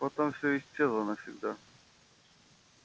потом все исчезло навсегда